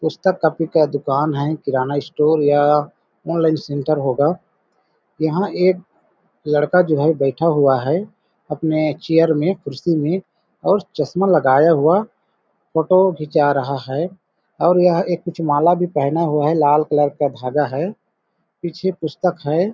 पुस्तक कॉपी का दुकान है किराना स्टोर या अनलाइन सेंटेर होगा यहाँ एक लड़का जो है बैठा हुआ है अपने चाय में कुर्सी में और चश्मा लगाया हुआ फोटो खींचा रहा है और यह एक कुछ माल भी पहना हुआ है लाल कलर का धागा है पीछे पुस्तक है।